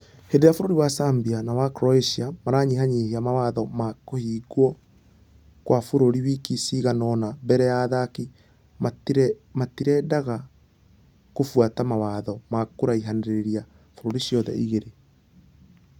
Hĩndĩ ĩrĩa bũrũri wa serbia na wa croatia maranyihanyihia mawatho ma kũhingwokwabũrũri wiki ciganũna mbere ya ....athaki matirendekqnaga kũbuata mawatho ma kũraihanĩrĩria bũrũri ciothe igĩrĩ.